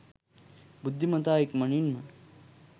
බුද්ධිමතා ඉක්මනින්ම